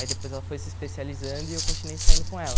Aí depois ela foi se especializando e eu continuei saindo com ela.